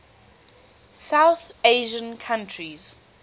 south asian countries